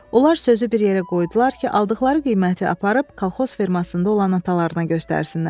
Onlar sözü bir yerə qoydular ki, aldıqları qiyməti aparıb kolxoz fermasında olan atalarına göstərsinlər.